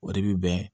O de bi bɛn